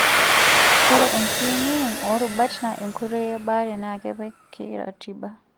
Ore enkiyeng'iyeng' oorubat naa enkoitoi ebaare naa kepiki ratiba.